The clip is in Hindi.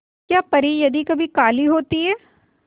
क्या परी यदि कभी काली होती है